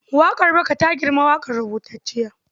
Oral song is older than written poetry.